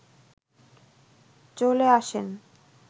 চলে আসেন